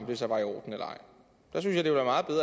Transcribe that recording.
det så var i orden eller